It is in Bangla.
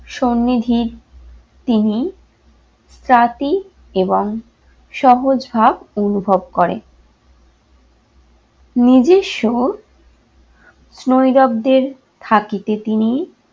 সন্নিধির তিনি ত্রাতি এবং সহজ ভাব অনুভব করে। নিজস্ব স্নইরব্দের থাকিতে তিনি